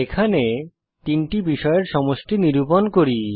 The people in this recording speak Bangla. এখানে তিনটি বিষয়ের সমষ্টি নিরূপণ করি